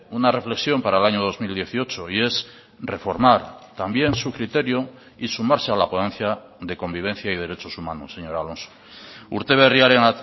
una reflexión para el año dos mil dieciocho y es reformar también su criterio y sumarse a la ponencia de convivencia y derechos humanos señor alonso urte berriaren